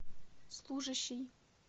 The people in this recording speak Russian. служащий